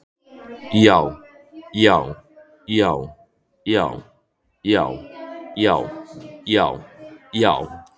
JÁ, JÁ, JÁ, JÁ, JÁ, JÁ, JÁ, JÁ.